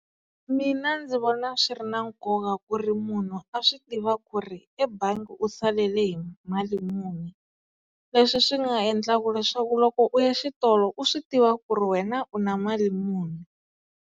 Mina ndzi vona swi ri na nkoka ku ri munhu a swi tiva ku ri ebangi u salele hi mali muni leswi swi nga endlaka leswaku loko u ya xitolo u swi tiva ku ri wena u na mali muni.